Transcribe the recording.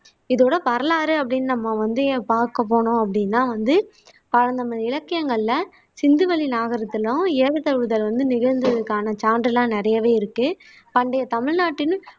இதோட வரலாறு அப்படின்னு நம்ம வந்து பார்க்க போனோம் அப்படின்னா வந்து நமது இலக்கியங்கள்ல சிந்துவெளி நாகரீகத்திலும் ஏறுதழுவுதல் வந்து நிகழ்ந்ததுக்கான சான்று எல்லாம் நிறையவே இருக்கு பண்டைய தமிழ்நாட்டின்